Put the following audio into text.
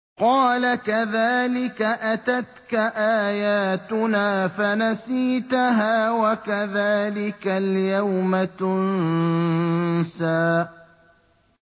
قَالَ كَذَٰلِكَ أَتَتْكَ آيَاتُنَا فَنَسِيتَهَا ۖ وَكَذَٰلِكَ الْيَوْمَ تُنسَىٰ